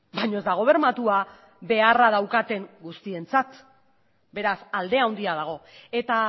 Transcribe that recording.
baina ez dago bermatua beharra daukaten guztientzat beraz alde handia dago eta